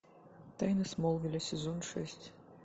тайны смолвиля сезон шесть